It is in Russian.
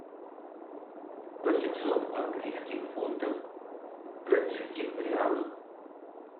восемьсот английских фунтов в бразильских реалах